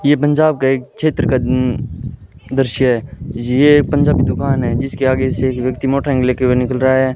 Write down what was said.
ये पंजाब का एक क्षेत्र का उम्म दृश्य है ये पंजाबी दुकान है जिसके आगे से एक व्यक्ति मोटरसाइकिल ले के हुए निकल रहा है।